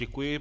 Děkuji.